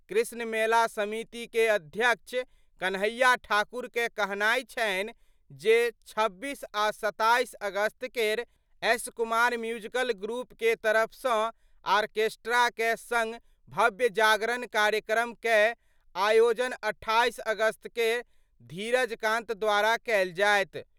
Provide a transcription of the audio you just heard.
कृष्ण मेला समिति कए अध्यक्ष कन्हैया ठाकुर कए कहनाय छनि जे 26 आ 27 अगस्त केर एस कुमार म्यूजिकल ग्रुप केर तरफ सँ आर्केस्ट्रा कए संग भव्य जागरण कार्यक्रम कए आयोजन 28 अगस्त केर धीरज कांत द्वारा कयल जायत।